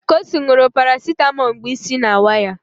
Kosi ṅụrụ parasetamol mgbe isi na-awa ya